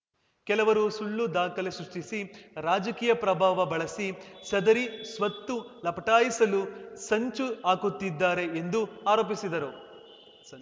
ಕೆಲವರು ಸುಳ್ಳು ದಾಖಲೆ ಸೃಷ್ಟಿಸಿ ರಾಜಕೀಯ ಪ್ರಭಾವ ಬಳಸಿ ಸದರಿ ಸ್ವತ್ತು ಲಪಟಾಯಿಸಲು ಸುಂಚು ಹಾಕುತ್ತಿದ್ದಾರೆ ಎಂದು ಆರೋಪಿಸಿದರು